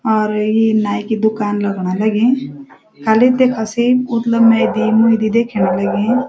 और यि नाई की दुकान लगण लगीं खाली देखा सी उतला मैं दीन भी देख्यण लगीं।